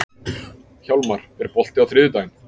Hjálmar, er bolti á þriðjudaginn?